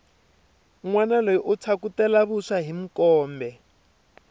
nwana loyi u phyakutela vuswa hi mkombe